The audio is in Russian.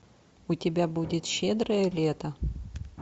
у тебя будет щедрое лето